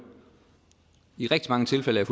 i rigtig mange tilfælde er